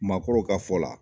Maakɔrɔw ka fɔ la